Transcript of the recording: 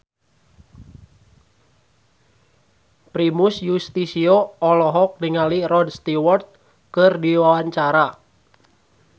Primus Yustisio olohok ningali Rod Stewart keur diwawancara